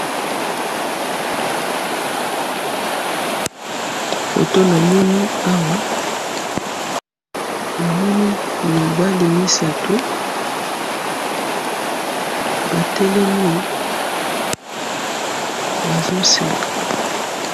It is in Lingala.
Foto namoni awa namoni mibali misatu batelemi bazo seka .